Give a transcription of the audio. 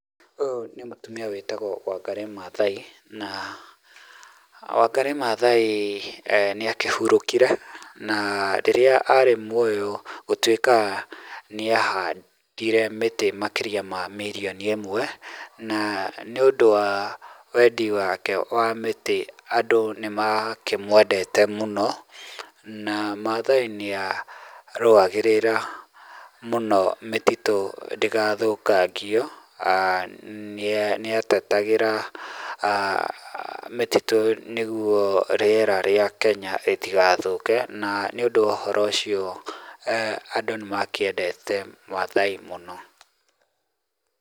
Ũyũ nĩ mũtumia wĩtagwo Wangarĩ Maathai, na Wangarĩ Maathai nĩ akĩhurũkire, na rĩrĩa ari muoyo, gũtwĩkaga nĩ ahandire mĩtĩ makĩria ma mirioni ĩmwe, na nĩ ũndũ wa wendi wake wa mĩtĩ, andũ nĩ makĩmwendete mũno, na Maathai nĩ arũagĩrĩra mũno mĩtitũ ndĩgathũkangio, nĩ atetagĩra mĩtitũ nĩguo rĩera rĩa Kenya rĩtigathũke na nĩ ũndũ wa ũhoro ũcio andũ nĩ makĩendete Maathai mũno.